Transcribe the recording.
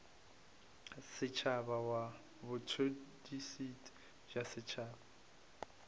setšhaba wa botšhotšhisi bja setšhaba